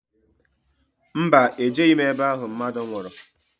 Mba, ejeghi m ebe ahụ mmadụ nwụrụ